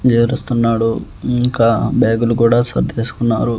ఏడుస్తున్నాడు ఇంకా బ్యాగులు కూడా సర్దేసుకున్నారు.